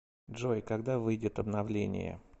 джой когда выйдет обновление